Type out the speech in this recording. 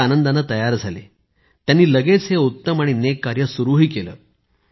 ते आनंदाने तयार झाले आणि त्यांनी लगेच हे उत्तम आणि नेक कार्य सुरु केले